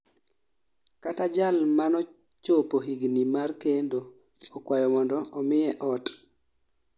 kata jal manochopo higni mar kendo okwayo mondo omiye ot